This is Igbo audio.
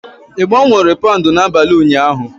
Ị gbanwere paụnd n'abalị ụnyaahụ?